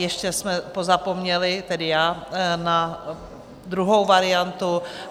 Ještě jsme pozapomněli, tedy já, na druhou variantu.